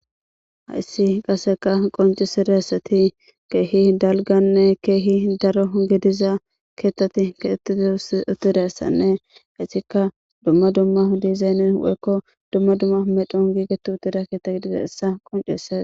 hayssi qaseka qoncisirayssati keehi dalganne keehi daro gidiza keettati keetid utirassanne hayssika dumma dumma dizayn woykko dumma dumma medhon giigeti utira keetta gidiza issa qoncese